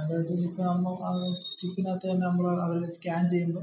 അത് scan ചെയ്യുമ്പോ